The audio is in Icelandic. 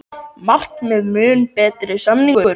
Markmiðið mun betri samningur